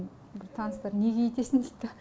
бір таныстар неге өйтесің дейді да